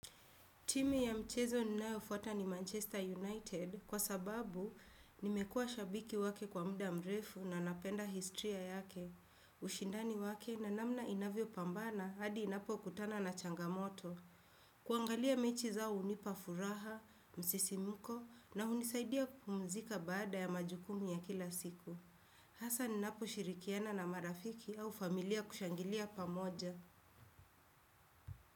Timu ya mchezo ninayo fuata ni Manchester United kwa sababu nimekua shabiki wake kwa muda mrefu na napenda historia yake. Ushindani wake na namna inavyo pambana hadi inapo kutana na changamoto. Kuangalia mechi zao hunipa furaha, msisimko na hunisaidia kupumzika baada ya majukumu ya kila siku. Hasa ninapo shirikiana na marafiki au familia kushangilia pamoja.